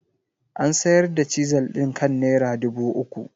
An sayar da Chisel ɗin kan naira dubu uku.